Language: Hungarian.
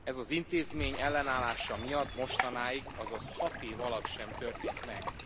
Ez az intézmény ellenállása miatt mostanáig, azaz hat év alatt sem történt meg.